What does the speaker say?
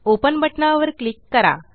open बटनावर click करा